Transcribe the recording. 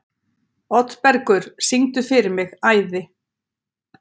Oddbergur, syngdu fyrir mig „Æði“.